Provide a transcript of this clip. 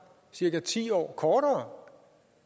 cirka ti år kortere